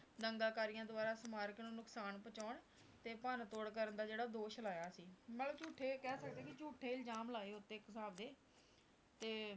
ਦੰਗਾਕਾਰੀਆਂ ਦੁਆਰਾ ਸਮਾਰਕ ਨੂੰ ਨੁਕਸਾਨ ਪਹੁੰਚਾਉਣ ਤੇ ਭੰਨਤੋੜ ਕਰਨ ਦਾ ਜਿਹੜਾ ਦੋਸ਼ ਲਾਇਆ ਸੀ, ਮਤਲਬ ਝੂਠੇ ਕਹਿ ਸਕਦੇ ਹਾਂ ਵੀ ਝੂਠੇ ਇਲਜ਼ਾਮ ਲਾਏ ਉਹ ਤੇ ਇੱਕ ਹਿਸਾਬ ਦੇ ਤੇ